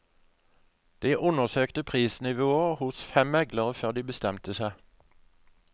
De undersøkte prisnivået hos fem meglere før de bestemte seg.